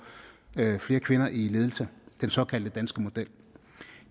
flere kvinder i ledelse den såkaldte danske model